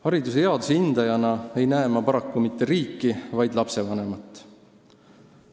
Hariduse headuse hindajana ei näe ma paraku mitte riiki, vaid lapsevanemat.